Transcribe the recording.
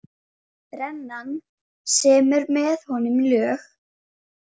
Brennan semur með honum lög.